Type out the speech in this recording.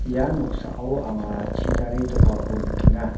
ia noksao anga chidare jokako nikenga.